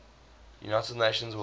united nations world